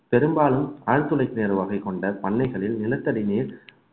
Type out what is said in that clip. பெரும்பாலும் ஆழ்துளை கிணறு வகை கொண்ட பண்ணைகளில் நிலத்தடி நீர்